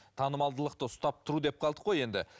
танымалдылықты ұстап тұру деп қалдық қой енді